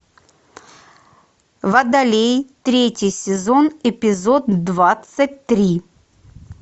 водолей третий сезон эпизод двадцать три